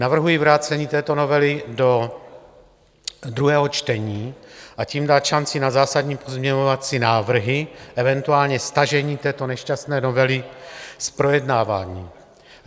Navrhuji vrácení této novely do druhého čtení, a tím dát šanci na zásadní pozměňovací návrhy, eventuálně stažení této nešťastné novely z projednávání.